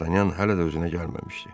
Dartanyan hələ də özünə gəlməmişdi.